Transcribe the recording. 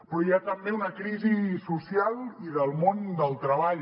però hi ha també una crisi social i del món del treball